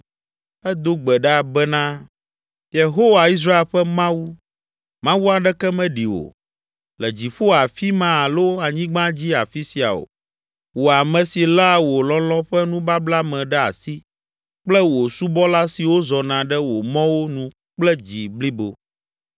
Edo gbe ɖa bena, “Yehowa, Israel ƒe Mawu, Mawu aɖeke meɖi wò, le dziƒo afi ma alo anyigba dzi afi sia o, wò ame si léa wò lɔlɔ̃ ƒe nubabla me ɖe asi kple wò subɔla siwo zɔna ɖe wò mɔwo nu kple dzi blibo.